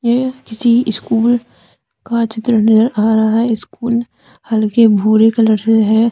येह किसी स्कूल का चित्र नजर आ रहा है स्कूल हल्के भूरे कलर से है।